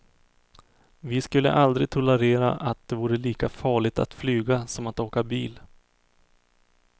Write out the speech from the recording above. Vi skulle aldrig tolerera att det vore lika farligt att flyga som att åka bil.